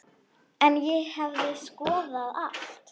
En ég hefði skoðað allt.